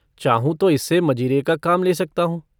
चाहूँ तो इससे मजीरे का काम ले सकता हूँ।